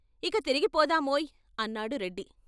"ఇక తిరిగిపోదామోయ్ " అన్నాడు రెడ్డి.